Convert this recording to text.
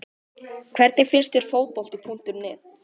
Hvernig finnst þér Fótbolti.net?